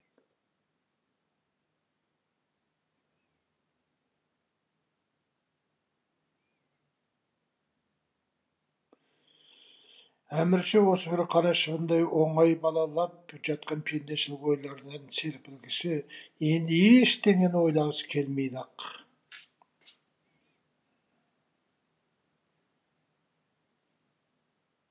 әмірші осы бір қара шыбындай оңай балалап жатқан пендешілік ойлардан серпілгісі енді ештеңені ойламағысы келмейді ақ